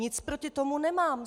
Nic proti tomu nemám.